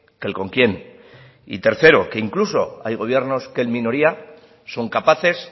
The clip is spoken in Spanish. que con quién y tercero que incluso que hay gobiernos que en minoría son capaces